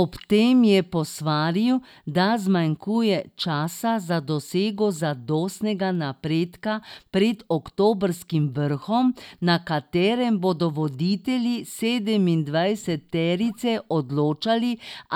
Ob tem je posvaril, da zmanjkuje časa za dosego zadostnega napredka pred oktobrskim vrhom, na katerem bodo voditelji sedemindvajseterice odločali,